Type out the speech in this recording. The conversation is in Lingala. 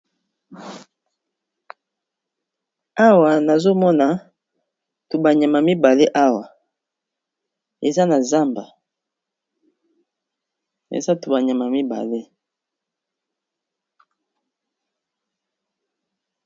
awa nazomona tubanyama mibale eza nazamba